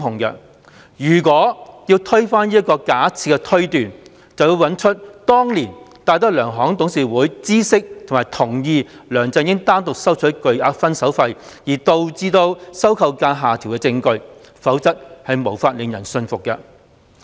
如果要推翻這個假設推斷，便要找出當年戴德梁行董事會知悉及同意梁振英單獨收取巨額"分手費"而導致收購價下調的證據，否則無法令人信服。